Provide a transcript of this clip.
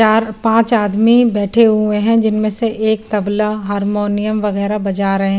चार पांच आदमी बैठे हुए हैं जिनमें से एक तबला हारमोनियम वगैरा बजा रहे--